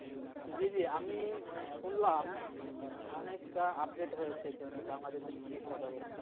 জি জি আমি শুনলাম অনেকটা update হয়েছে বাংলাদেশ এর চিকিৎসা ব্যবস্থা.